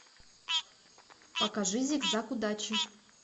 покажи зигзаг удачи